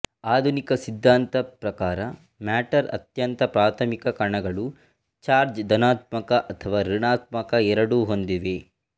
ಆಧುನಿಕ ಸಿದ್ದಾಂತ ಪ್ರಕಾರ ಮ್ಯಾಟರ್ ಅತ್ಯಂತ ಪ್ರಾಥಮಿಕ ಕಣಗಳು ಚಾರ್ಜ್ ಧನಾತ್ಮಕ ಅಥವಾ ಋಣಾತ್ಮಕ ಎರಡೂ ಹೊಂದಿವೆ